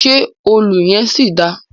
Ṣe òlù yẹn ṣì dáa?